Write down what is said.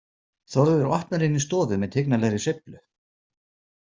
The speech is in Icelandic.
Þórður opnar inn í stofu með tignarlegri sveiflu.